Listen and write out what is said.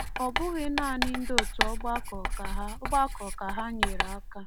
Ọ bụghị naanị ndị otu ọgbakọ ka ha ọgbakọ ka ha nyeere aka.